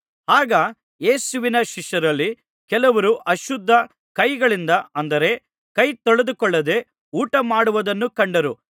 ಆಗ ಯೇಸುವಿನ ಶಿಷ್ಯರಲ್ಲಿ ಕೆಲವರು ಅಶುದ್ಧ ಕೈಗಳಿಂದ ಅಂದರೆ ಕೈತೊಳೆದುಕೊಳ್ಳದೆ ಊಟಮಾಡುವುದನ್ನು ಕಂಡರು